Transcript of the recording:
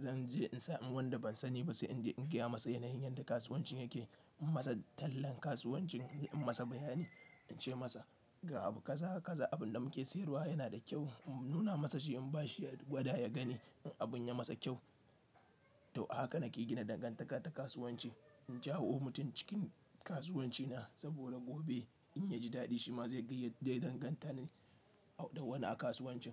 Zan je in sa in wanda ban sani ba sai in iya masa yanayin yadda kasuwanci yake, in masa tallan kasuwanci, in yi masa bayani, in ce masa ga abu kaza, kaza abin da muke sayarwa yana da kyau. In nuna masa shi, in ba shi gwada ya gani in abun ya masa kyau. To haka nake gina dangantaka ta kasuwanci. In jawo mutum cikin kasuwanci na saboda gobe in ya ji daɗi shi ma zai gayyata zai danganta ni da wani a kasuwancin.